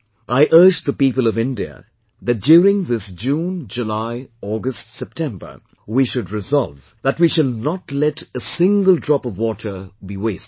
I urge the people of India that during this June, July, August September, we should resolve that we shall not let a single drop of water be wasted